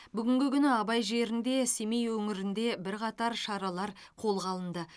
бүгінгі күні абай жері семей өңірінде бірқатар шаралар қолға алынды